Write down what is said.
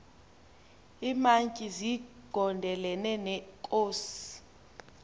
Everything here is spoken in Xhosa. iimantyi zigondelene neenkosi